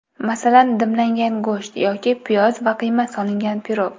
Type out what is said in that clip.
Masalan, dimlangan go‘sht yoki piyoz va qiyma solingan pirog.